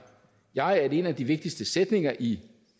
jeg at en af de vigtigste sætninger i